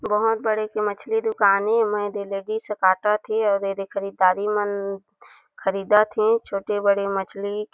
बहोत बड़ी एक मछली दुकान ए लेडिस आ काटत हे आऊ येदेे खरीदारी मन ख़रीदत हे छोटे-बड़े मछली--